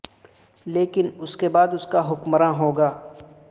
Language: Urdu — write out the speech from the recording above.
لیکن اس کے بعد اس کا حکمران ہو گا